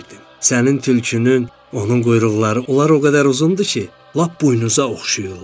"Sənin tülkünün, onun quyruqları, onlar o qədər uzundur ki, lap boynunuza oxşayırlar."